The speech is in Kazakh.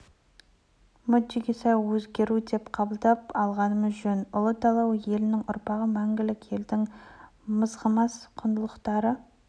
мүддеге сай өзгеру деп қабыл алғанымыз жөн ұлы дала елінің ұрпағы мәңгілік елдің мызғымас құндылықтары